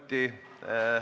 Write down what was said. Aitäh!